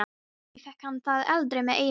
Kannski fékk hann það aldrei með eigin börn.